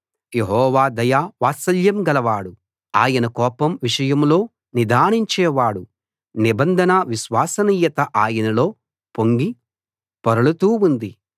యెహోవా దయ వాత్సల్యం గలవాడు ఆయన కోపం విషయంలో నిదానించే వాడు నిబంధన విశ్వసనీయత ఆయనలో పొంగి పొరలుతూ ఉంది